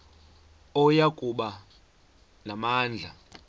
oya kuba namandla